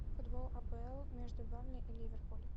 футбол апл между бернли и ливерпуль